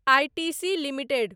ITC limited